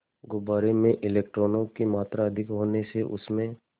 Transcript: गुब्बारे में इलेक्ट्रॉनों की मात्रा अधिक होने से उसमें